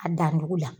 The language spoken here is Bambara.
A dan jugu la